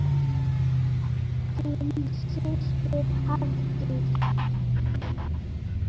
Þín systir, Hafdís.